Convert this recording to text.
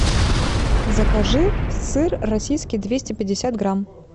закажи сыр российский двести пятьдесят грамм